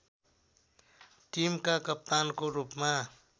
टिमका कप्तानको रूपमा